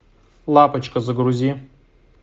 лапочка загрузи